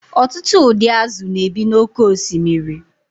ọtụtụ ụdị azụ̀ na-ebi n’oké osimiri